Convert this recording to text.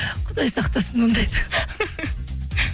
құдай сақтасын ондайдан